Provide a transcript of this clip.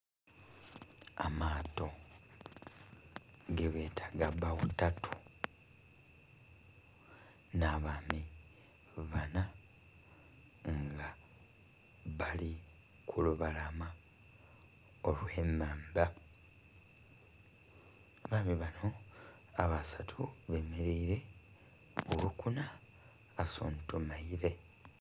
Amaato gebeta aga bbagho tatu nha bamii bana bali ku lubalama olwe nhandha. Abaami banho abasatu bemereire oghokuna asuntumaire.